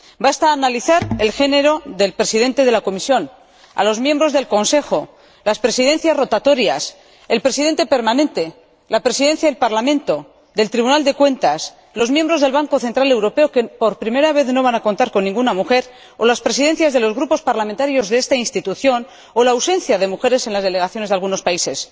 Basta ver de qué sexo es el Presidente de la Comisión o analizar a los miembros del Consejo, las Presidencias rotatorias, el Presidente permanente, la Presidencia del Parlamento y del Tribunal de Cuentas, los miembros del Banco Central Europeo —entre los que, por primera vez, no va a haber ninguna mujer—, o las presidencias de los grupos parlamentarios de esta Institución, o la ausencia de mujeres en las delegaciones de algunos países.